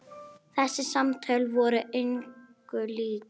Þessi samtöl voru engu lík.